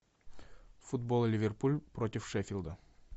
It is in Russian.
футбол ливерпуль против шеффилда